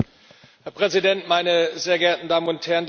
Herr Präsident, meine sehr geehrten Damen und Herren!